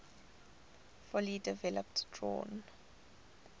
fully developed drawn